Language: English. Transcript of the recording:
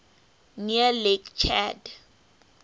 near lake chad